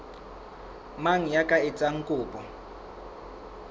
mang ya ka etsang kopo